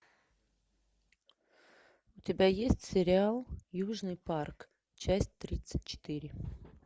у тебя есть сериал южный парк часть тридцать четыре